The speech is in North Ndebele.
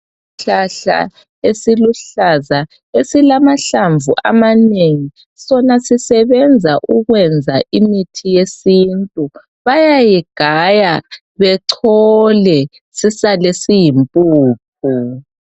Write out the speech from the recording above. Isihlahla esiluhlaza esilamahlamvu amanengi sona sisebenza ukwenza imithi yesintu bayayigaya bechole sisale siyimpuphu.